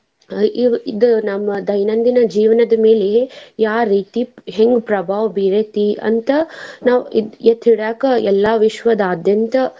ಅಹ್ ಇ~ ಇ~ ಇದ್ ನಮ್ಮ ದೈನಂದಿನ ಜೀವನದ ಮೇಲೆ ಯಾವ್ ರೀತಿ ಹೆಂಗ್ ಪ್ರಭಾವ ಬೀರೇತಿ ಅಂತ ನಾವ್ ಎತ್ತಿ ಎತ್ತಿ ಹಿಡ್ಯಾಕ ಎಲ್ಲಾ ವಿಶ್ವದಾದ್ಯಂತ.